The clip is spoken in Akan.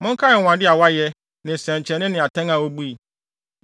Monkae anwonwade a wayɛ, ne nsɛnkyerɛnne ne atɛn a obui.